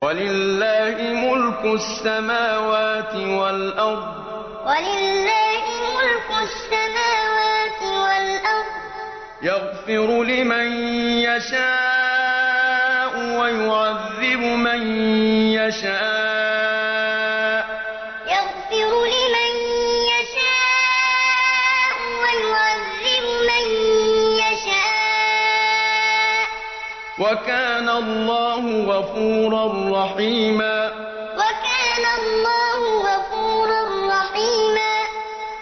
وَلِلَّهِ مُلْكُ السَّمَاوَاتِ وَالْأَرْضِ ۚ يَغْفِرُ لِمَن يَشَاءُ وَيُعَذِّبُ مَن يَشَاءُ ۚ وَكَانَ اللَّهُ غَفُورًا رَّحِيمًا وَلِلَّهِ مُلْكُ السَّمَاوَاتِ وَالْأَرْضِ ۚ يَغْفِرُ لِمَن يَشَاءُ وَيُعَذِّبُ مَن يَشَاءُ ۚ وَكَانَ اللَّهُ غَفُورًا رَّحِيمًا